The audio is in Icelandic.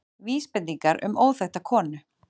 Vísbendingar um óþekkta konu